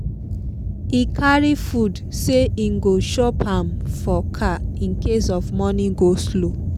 e carry food say him go chop am for car incase of morning go-slow